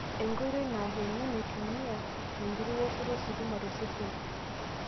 Enkoitoi naar emion eitumia enkiti woshoto ositima tosesen(TENS).